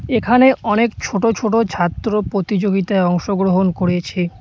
এখানে অনেক ছোট ছোট ছাত্র প্রতিযোগিতায় অংশগ্রহণ করেছে।